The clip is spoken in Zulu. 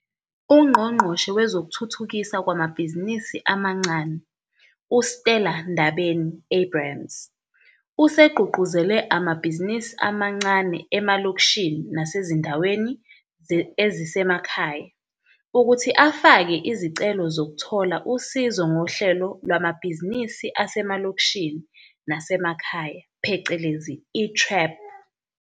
UNgqongqoshe Wezokuthuthukiswa Kwamabhizinisi Amancane, u-Stella Ndabeni-Abrahams, usegqugquzele amabhizinisi amancane emalokishini nasezindaweni ezisemakhaya ukuthi afake izicelo zokuthola usizo ngoHlelo Lwamabhizinisi Asemalokishini Nasemakhaya phecelezi i-TREP.